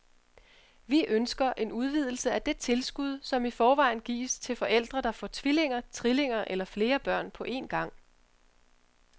Vi ønsker en udvidelse af det tilskud, som i forvejen gives til forældre, der får tvillinger, trillinger eller flere børn på en gang.